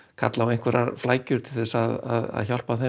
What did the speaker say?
kallar á flækjur til að hjálpa þeim